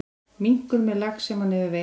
Minkur með lax sem hann hefur veitt.